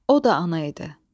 O da ana idi.